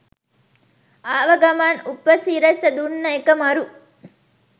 ආව ගමන් උපසිරස දුන්න එක මරු.